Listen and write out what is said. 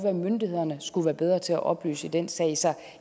at myndighederne skulle være bedre til at oplyse i den sag så